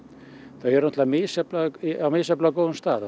þau eru á misjafnlega á misjafnlega góðum stað og